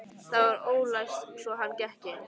Það var ólæst svo hann gekk inn.